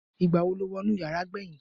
igbawo lo wo inú yara gbeyin